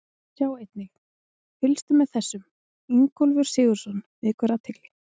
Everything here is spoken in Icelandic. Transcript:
Sjá einnig: Fylgist með þessum: Ingólfur Sigurðsson vekur athygli